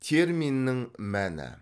терминнің мәні